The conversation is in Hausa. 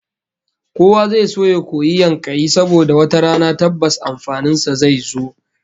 Kowa zai so ya koyi yankayi saboda wata rana tabbas amfanin sa zai zo